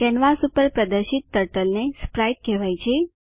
canvas પર પ્રદર્શિત turtle ને સ્પ્રાઇટ કહેવાય છે